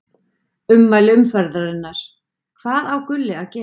Ummæli umferðarinnar: Hvað á Gulli að gera?